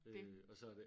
Øh og så det